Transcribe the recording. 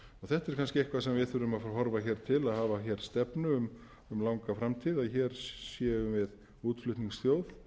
þetta er kannski eitthvað sem við þurfum að horfa hér til að hafa hér stefnu um langa framtíð að hér séum við útflutningsþjóð